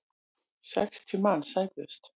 Sextíu manns særðust.